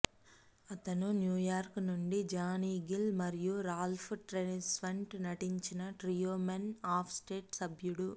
అతను New York నుండి Johnny Gill మరియు రాల్ఫ్ ట్రెస్వాంట్ నటించిన ట్రియో మెన్ ఆఫ్ స్టేట్ సభ్యుడు